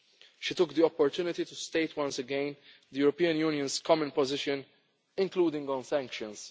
She took the opportunity to state once again the European Union's common position, including on